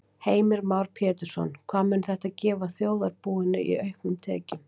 Heimir Már Pétursson: Hvað mun þetta gefa þjóðarbúinu í auknum tekjum?